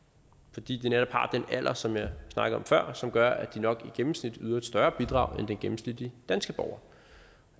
fordi de netop har den alder som jeg snakkede om før som gør at de nok i gennemsnit yder et større bidrag end den gennemsnitlige danske borger